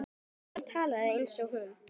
Enginn talaði eins og hún.